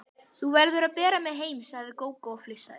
Þú verður að bera mig heim, sagði Gógó og flissaði.